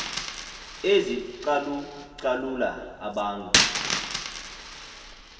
ezicalu calula abantu